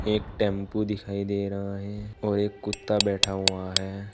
एक टेंपो दिखाई दे रहा है और एक कुत्ता बैठा हुआ है।